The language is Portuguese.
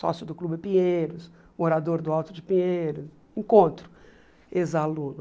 Sócio do Clube Pinheiros, morador do Alto de Pinheiros, encontro ex-aluno.